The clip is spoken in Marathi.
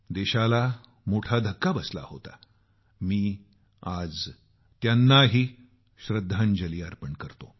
देशाला मोठा धक्का बसला होता मी आज त्यांनाही श्रद्धांजली अर्पण करतो